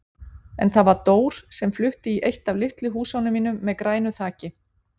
En það var Dór sem flutti í eitt af litlu húsunum mínum með grænu þaki.